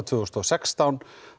tvö þúsund og sextán